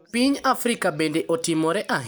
Piny Afrika bende otimore ahinya.